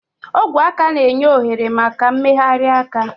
Ogwe aka na-enye ohere maka mmegharị aka.